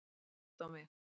Gott á mig.